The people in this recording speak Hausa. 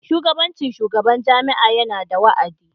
Shugabancin shugaban jami'a yana da wa'adi.